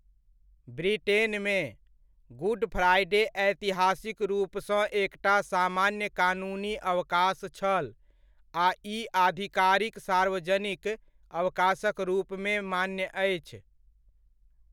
ब्रिटेनमे, Good Friday ऐतिहासिक रूपसँ एकटा सामान्य कानूनी अवकाश छल आ ई आधिकारिक सार्वजनिक अवकाशक रूपमे मान्य अछि।